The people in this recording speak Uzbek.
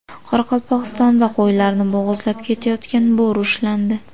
Qoraqalpog‘istonda qo‘ylarni bo‘g‘izlab ketayotgan bo‘ri ushlandi.